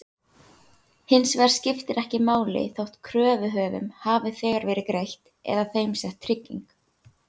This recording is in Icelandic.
Hins vegar skiptir ekki máli þótt kröfuhöfum hafi þegar verið greitt eða þeim sett trygging.